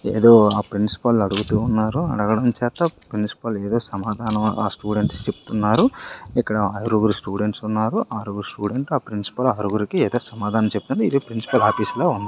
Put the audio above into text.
ఏదో ఆ ప్రిన్సిపల్ని అడుగుతున్నారు అడగడం చేత ప్రిన్సిపాల్ ఏదో సమాధానం ఆ స్టూడెంట్స్ కి చెప్తున్నారు ఇక్కడ ఆరుగురు స్టూడెంట్స్ ఉన్నారు ఆరుగురు స్టూడెంట్స్ ఆ ప్రిన్సిపాల్ ఆరుగురికి ఏదో సమాధానం చెప్తుంది ఇది ప్రిన్సిపాల్ ఆఫీసులో ఉంది.